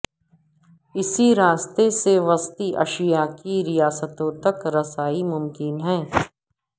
اسی راستے سے وسطی ایشیا کی ریاستوں تک رسائی ممکن ہے